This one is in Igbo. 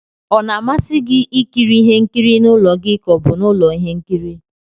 Ọ na-amasị gị ikiri ihe nkiri n'ụlọ gi ka ọ bụ n'ulo ihe nkiri?